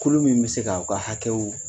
Kulu min bɛ se k'aw ka hakɛw